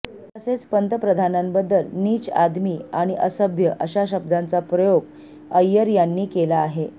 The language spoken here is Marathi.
तसेच पंतप्रधानांबद्दल नींच आदमीआणि असभ्य अशा शब्दांचा प्रयोग अय्यर यांनी केला आहे